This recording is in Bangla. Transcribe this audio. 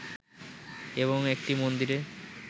এবং একটি মন্দিরে